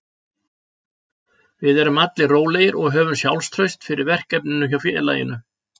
Við erum allir rólegir og höfum sjálfstraust fyrir verkefninu hjá félaginu.